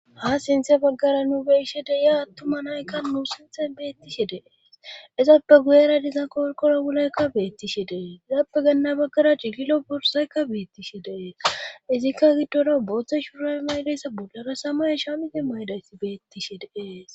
Ha sinthe baggara nu beyshe deya attuma naykka nu sinthen beettishe dee izappe guyera dizan korkora wulaykka beettishe dee zappe ganna baggara cigilo borsaykka beettishe dee izikka giddoda booththe shuura maydisa bollara samay isha miti maydaysi beettishe deees.